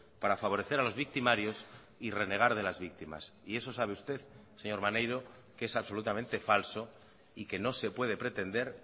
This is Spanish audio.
para favorecer a los victimarios y renegar de las victimas y eso sabe usted señor maneiro que es absolutamente falso y que no se puede pretender